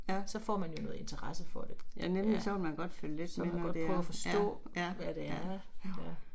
Så får man jo noget interesse for det. Så vil man godt prøve at forstå hvad det er, ja